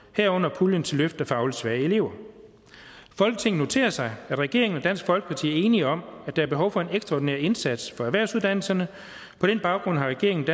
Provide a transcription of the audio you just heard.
herunder puljen til løft af fagligt svage elever folketinget noterer sig at regeringen og dansk folkeparti er enige om at der er behov for en ekstraordinær indsats for erhvervsuddannelserne på den baggrund har regeringen og